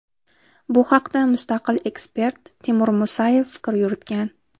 Bu haqda mustaqil ekspert Timur Musayev fikr yuritgan.